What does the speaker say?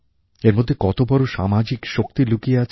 এর মধ্যে কত বড় সামাজিক শক্তি লুকিয়ে আছে